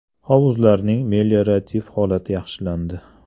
Hovuzlarning meliorativ holati yaxshilandi.